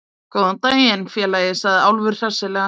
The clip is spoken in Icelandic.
Góðan daginn, félagi, sagði Álfur hressilega.